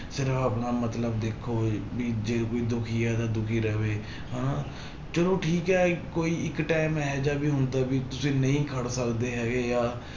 ਸ਼ਰਾਬ ਨਾ ਮਤਲਬ ਦੇਖੋ ਵੀ ਜੇ ਕੋਈ ਦੁੱਖੀ ਹੈ ਤਾਂ ਦੁੱਖੀ ਰਵੇ ਹਨਾ ਚਲੋ ਠੀਕ ਹੈ ਇੱਕੋ ਹੀ ਇੱਕ time ਇਹ ਜਿਹਾ ਵੀ ਹੁੰਦਾ ਵੀ ਤੁਸੀਂ ਨਹੀਂ ਖੜ ਸਕਦੇ ਹੈਗੇ ਜਾਂ